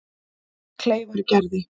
Kleifargerði